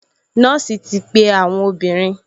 Nọ́ọ̀sì ti pe àwọn obìnrin